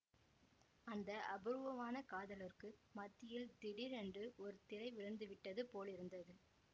அந்த அபூர்வான காதலர்க்கு மத்தியில் திடீரென்று ஒரு திரை விழுந்துவிட்டது போலிருந்தது